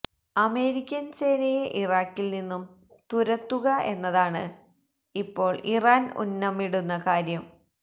American സേനയെ ഇറാഖിൽ നിന്നും തുരത്തുക എന്നതാണ് ഇപ്പോൾ ഇറാൻ ഉന്നമിടുന്ന കാര്യം